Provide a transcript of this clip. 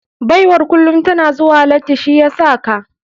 Baiwar kulum tana zuwa lati shi yasaka.